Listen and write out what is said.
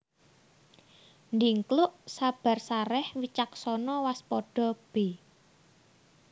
Dhingkluk sabar sarèh wicaksana waspada b